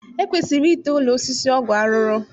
E kwesiri ite ụlọ osisi ọgwụ arụrụ